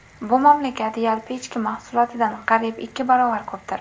Bu mamlakat yalpi ichki mahsulotidan qariyb ikki barobar ko‘pdir.